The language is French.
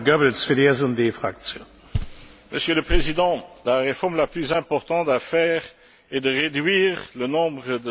Monsieur le Président, la réforme la plus importante à faire est de réduire le nombre de sommets des chefs d'État et de gouvernement.